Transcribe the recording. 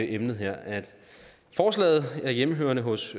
emnet her at forslaget er hjemmehørende hos